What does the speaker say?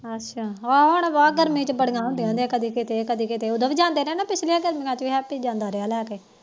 ਅੱਛਾ ਹਾ ਹੁਣ ਗਰਮੀ ਚ ਬੜੀਆਂ ਹੁੰਦੀਆਂ ਹੁੰਦੀਆਂ ਕਦੇ ਕਿਤੇ ਕਦੇ ਕਿਤੇ ਉਦਾ ਵੀ ਜਾਂਦੇ ਪਿਛਲੀ ਗਰਮੀਆਂ ਚ ਹੈਪੀ ਜਾਂਦਾ ਰਿਹਾ ਲੈਕੇ